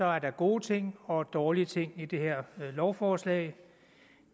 er der gode ting og dårlige ting i det her lovforslag